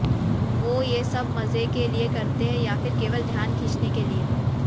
वो ये सब मजे के लिए करते हैं या फिर केवल ध्यान खींचने के लिए